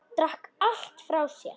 Drakk allt frá sér.